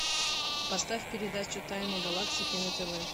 поставь передачу тайны галактики на тв